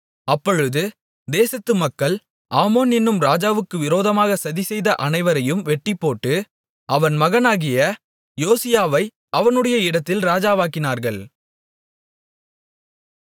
அப்பொழுது தேசத்து மக்கள் ஆமோன் என்னும் ராஜாவுக்கு விரோதமாக சதிசெய்த அனைவரையும் வெட்டிப்போட்டு அவன் மகனாகிய யோசியாவை அவனுடைய இடத்தில் ராஜாவாக்கினார்கள்